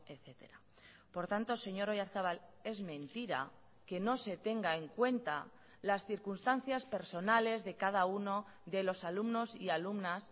etcétera por tanto señor oyarzabal es mentira que no se tenga en cuenta las circunstancias personales de cada uno de los alumnos y alumnas